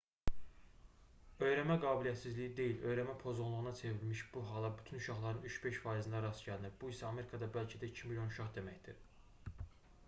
öyrənmə qabiliyyətsizliyi deyil öyrənmə pozğunluğuna çevrilmiş bu hala bütün uşaqların 3-5 faizində rast gəlinir bu isə amerikada bəlkə də 2 milyon uşaq deməkdir